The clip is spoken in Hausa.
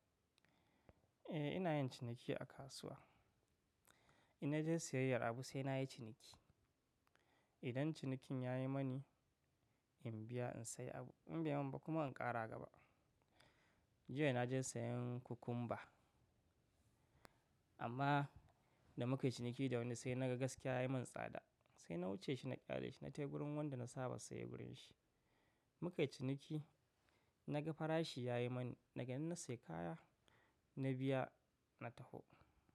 Eh ina yin ciniki a kasuwa. In naje siyayyar abu sai na yi ciniki. Idan cinikin ya yi mani in biya in sayi abu, in baimin ba kuma in ƙara gaba. Jiya na je sayan kukumba amma da muka yi ciniki da wani sai naga gaskiya ya yi min tsada sai na wuce shi na ƙyale shi na tai wurin wanda na saba saye wurin shi. Muka yi ciniki, na ga farashi ya yi mani daga nan na sayi kaya na biya na taho.